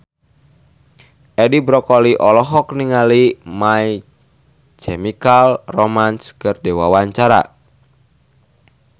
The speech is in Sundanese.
Edi Brokoli olohok ningali My Chemical Romance keur diwawancara